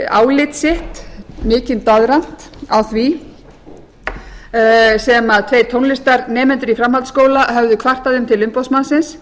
álit sitt mikinn doðrant á því sem tveir tónlistarnemendur í framhaldsskóla höfðu kvartað um til umboðsmannsins